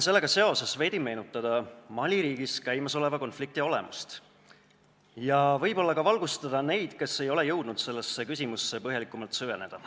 Sellega seoses tahaksin ma veidi meenutada Mali riigis käimasoleva konflikti olemust ja võib-olla ka valgustada neid, kes ei ole jõudnud sellesse teemasse põhjalikumalt süveneda.